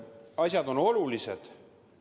Ajad on keerulised.